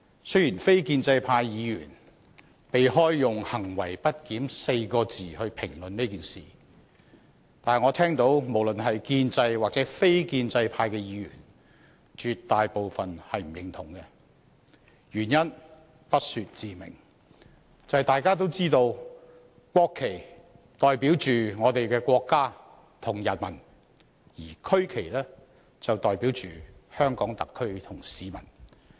雖然非建制派議員避開以"行為不檢 "4 個字評論此事，但我聽到無論是建制或非建制派議員，絕大部分均不表認同，原因不說自明，便是大家也知道國旗代表我們的國家和人民，而區旗則代表香港特區和市民。